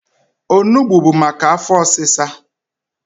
Onugbo bu maka afọ ọsịsa.